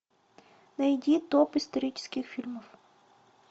найди топ исторических фильмов